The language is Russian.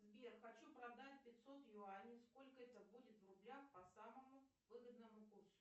сбер хочу продать пятьсот юаней сколько это будет в рублях по самому выгодному курсу